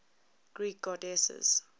greek goddesses